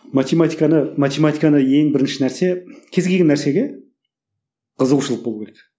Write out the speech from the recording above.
математиканы математиканы ең бірінші нәрсе кез келген нәрсеге қызығушылық болу керек